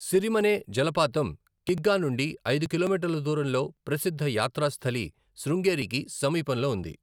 సిరిమనే జలపాతం కిగ్గా నుండి ఐదు కిలోమీటర్ల దూరంలో ప్రసిద్ధ యాత్రాస్థలి శృంగేరీకి సమీపంలో ఉంది.